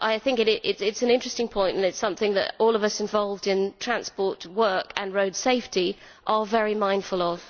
It is an interesting point and it is something that all of us involved in transport work and road safety are very mindful of.